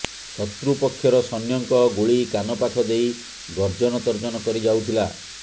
ଶତ୍ରୁ ପକ୍ଷର ସୈନ୍ୟଙ୍କ ଗୁଳି କାନ ପାଖ ଦେଇ ଗର୍ଜନ ତର୍ଜନ କରି ଯାଉଥିଲା